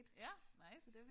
Ja nice